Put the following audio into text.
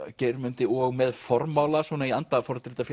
Geirmundi og með formála svona í anda